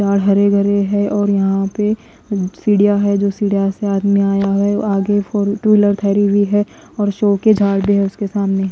झाड़ हरे भरे हैं और यहां पे सीढ़ियां है जो सीढ़ियां से आदमी आया है आगे फोर टू व्हीलर खड़ी हुई है और शो के झाड़ भी है उसके सामने।